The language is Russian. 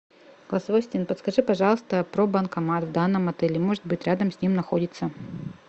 голосовой ассистент подскажи пожалуйста про банкомат в данном отеле может быть рядом с ним находится